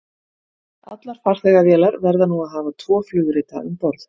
Allar farþegavélar verða nú að hafa tvo flugrita um borð.